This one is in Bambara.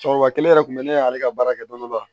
Cɛkɔrɔba kelen yɛrɛ kun bɛ ne ale ka baara kɛ dɔni dɔni la